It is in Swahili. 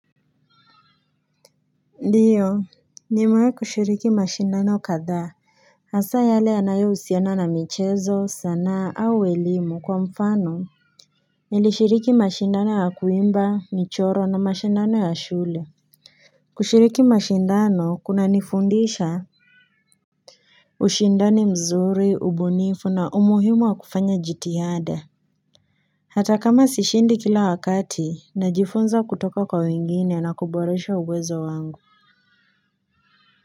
Ndio nimewahi kushiriki mashindano kadha hasa yale yanayo husiana na michezo sanaa au elimu kwa mfano nilishiriki mashindano ya kuimba, michoro na mashindano ya shule kushiriki mashindano kuna nifundisha ushindani mzuri ubunifu na umuhimu wa kufanya jitihada hata kama sishindi kila wakati najifunza kutoka kwa wengine na kuboresha uwezo wangu.